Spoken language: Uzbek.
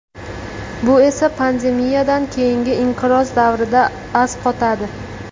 Bu esa pandemiyadan keyingi inqiroz davrida asqatadi.